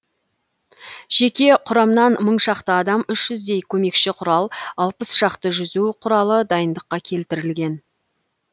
жеке құрамнан мың шақты адам үш жүздей көмекші құрал алпыс шақты жүзу құралы дайындыққа келтірілген